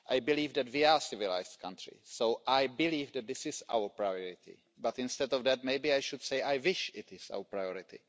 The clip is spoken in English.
I believe that we are civilised countries, so I believe that this is our priority, but instead of that, maybe I should say I wish it were our priority.